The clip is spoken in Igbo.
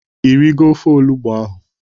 Ị rigo ofe olugbu ahụ?